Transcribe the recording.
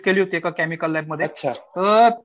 visit केली होती एका केमिकल लॅबमध्ये तर